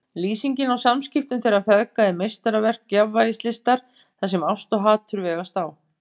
Lýsingin á samskiptum þeirra feðga er meistaraverk jafnvægislistar þar sem ást og hatur vegast á.